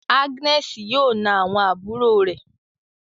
Agnes yóò nà àwọn àbúrò re